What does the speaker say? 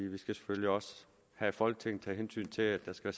vi skal selvfølgelig også her i folketinget tage hensyn til at der skal